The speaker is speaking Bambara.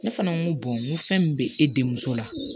Ne fana ko n ko fɛn min bɛ e denmuso la